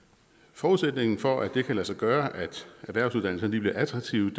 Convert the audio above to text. forudsætningen for at det kan lade sig gøre at erhvervsuddannelserne bliver attraktive